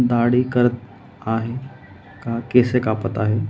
दाढी करत आहे का केस कापत आहे?